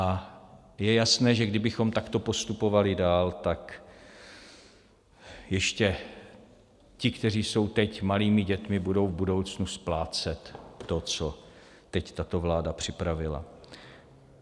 A je jasné že kdybychom takto postupovali dál, tak ještě ti, kteří jsou teď malými dětmi, budou v budoucnu splácet to, co teď tato vláda připravila.